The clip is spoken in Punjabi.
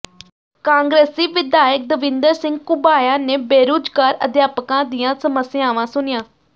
ਕਾਂਗਰਸੀ ਵਿਧਾਇਕ ਦਵਿੰਦਰ ਸਿੰਘ ਘੁਬਾਇਆ ਨੇ ਬੇਰੁਜ਼ਗਾਰ ਅਧਿਆਪਕਾਂ ਦੀਆਂ ਸਮੱਸਿਆਵਾਂ ਸੁਣੀਆਂ